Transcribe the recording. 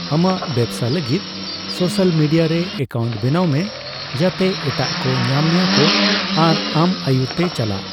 ᱟᱢᱟᱜ ᱵᱮᱵᱥᱟ ᱞᱟᱹᱜᱤᱫ ᱥᱳᱥᱟᱞ ᱢᱤᱰᱤᱭᱟ ᱨᱮ ᱮᱠᱟᱣᱩᱱᱴ ᱵᱮᱱᱟᱣ ᱢᱮ ᱡᱟᱛᱮ ᱮᱴᱟᱜ ᱠᱚ ᱧᱟᱢ ᱢᱮᱭᱟ ᱠᱚ ᱟᱨ ᱟᱢ ᱟᱭᱩᱨ ᱛᱮ ᱪᱟᱞᱟᱜ ᱾